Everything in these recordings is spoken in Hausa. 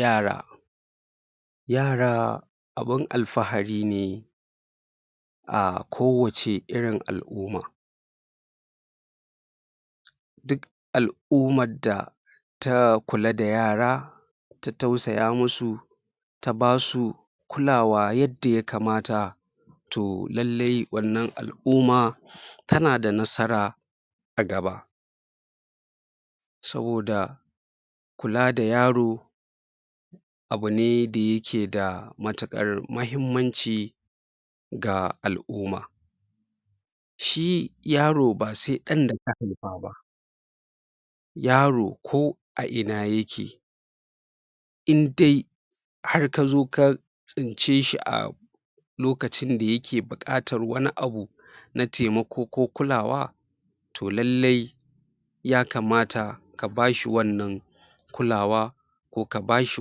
yara yara abun alfa'ari ne a kowace irin al'umma duk al'umman da ta kula da yara ta tausaya musu ta basu kulawa yada ya kamata to lalle wannan al'umma tanada nasara a gaba saboda kula da yaro abune da yake da mutukar muhimmanci ga al'umma shi yaro ba se ɗan daka haifa ba yaro ko a ina yake indai har kazo ka ka tsince shi a lokacin da yake buƙatar wani abu na taimako ko kulawa to lailai ya kamata ka bashi wannan kulawa ko ka bashi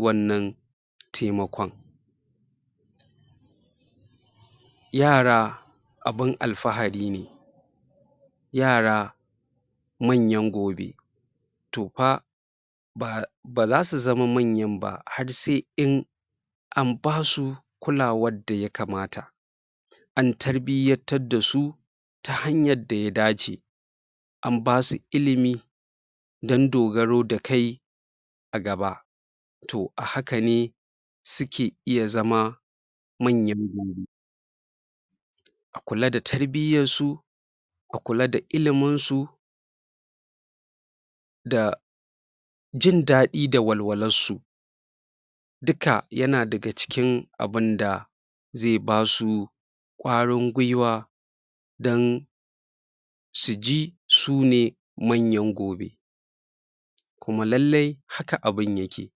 wannan taimakon yara abun alfa'ari ne yara manyan gobe to fa baza su zama manyan ba har se in an basu kulawar da ya kamata an tarbiyyartar da su ta hanyar da ya dace an basu ilimi dan dogaro da kai a gaba toh a hakane suke iya zama manyan gobe a kula da tarbiyansu a kula da ilimin su da jindadi da walwalarsu dika yana daga cikin abunda ze basu ƙwarin gwiwa dan suji sune manyan gobe kuma laillai haka abun yake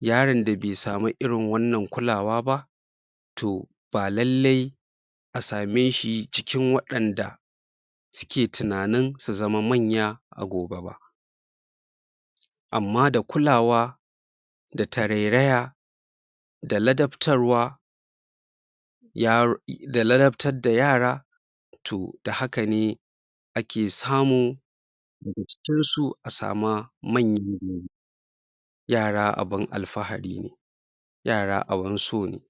yaron da be samu irin wannan kulawa ba to ba lallai a same shi cikin wayanda suke tunanin su zama manya a gobe ba amma da kulawa da tarairaya da ladabtarwa da ladabtar da yara toh da hakane ake samun daga cikin su a samu manyan gobe yara abun alfa'ari ne yara abun so ne.